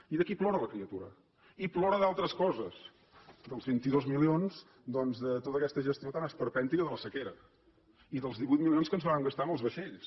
i d’aquí plora la criatura i ploren d’altres coses dels vint dos milions doncs de tota aquesta gestió tan esperpèntica de la sequera i dels divuit milions que ens vàrem gastar amb els vaixells